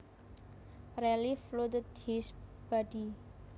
Relief flooded his body